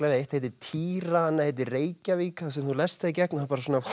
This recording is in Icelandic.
eitt heitir týra annað heitir Reykjavík þú lest það í gegn og það